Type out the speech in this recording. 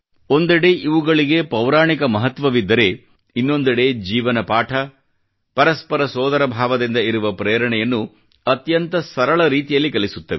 ಒಂದೆಡೆ ಇವುಗಳ ಪೌರಾಣಿಕ ಮಹತ್ವವಿದ್ದರೆ ಇನ್ನೊಂದೆಡೆ ಜೀವನ ಪಾಠ ಪರಸ್ಪರ ಸೋದರ ಭಾವದಿಂದ ಇರುವ ಪ್ರೇರಣೆಯನ್ನು ಅತ್ಯಂತ ಸರಳ ರೀತಿಯಲ್ಲಿ ಕಲಿಸುತ್ತವೆ